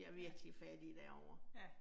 Ja. Ja